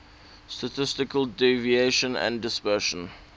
statistical deviation and dispersion